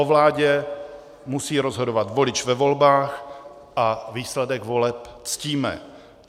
O vládě musí rozhodovat volič ve volbách a výsledek voleb ctíme.